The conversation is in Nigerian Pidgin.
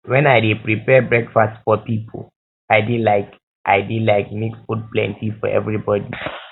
wen i dey prepare breakfast for pipo i dey like i dey like make food plenty for everybody